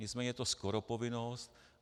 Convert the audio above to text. Nicméně je to skoro povinnost.